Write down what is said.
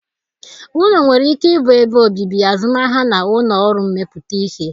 Ụlọ nwere ike ịbụ ebe obibi, azụmahịa na ụlọ ọrụ mmepụta ihe